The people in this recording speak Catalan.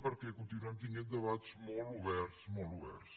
perquè continuem tenint debats molt oberts molt oberts